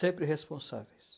Sempre responsáveis.